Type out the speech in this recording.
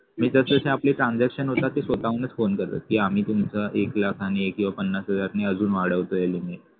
मी तसतशे आपले transaction होता ते स्वतःहूनच phone करत कि आम्ही तुमचा एक लाख आणि पन्नास हजार ने अजून वाढवतोय limit